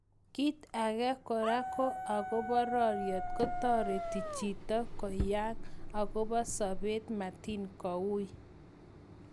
kit agen kora ko agopa rariet ko tareting jito koyang akopa sabet mating kougn